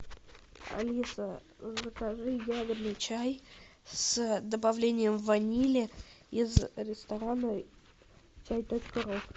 алиса закажи ягодный чай с добавлением ванили из ресторана чай точка ру